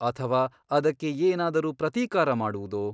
ಅಥವಾ ಅದಕ್ಕೆ ಏನಾದರೂ ಪ್ರತೀಕಾರ ಮಾಡುವುದೋ?